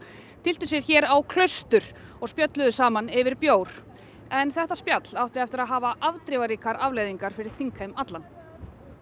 tylltu sér hér á Klaustur og spjölluðu saman yfir bjór en þetta spjall átti eftir að hafa afdrifaríkar afleiðingar fyrir þingheim allan